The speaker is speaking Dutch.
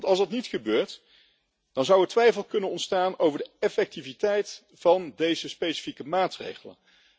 Want als dat niet gebeurt, zou twijfel kunnen ontstaan over de effectiviteit van deze specifieke maatregelen.